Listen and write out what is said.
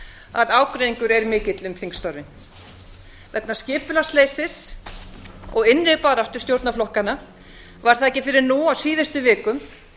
að ágreiningur er mikill um þingstörfin vegna skipulagsleysis og innri baráttu stjórnarflokkanna var það ekki fyrr en nú á síðustu vikum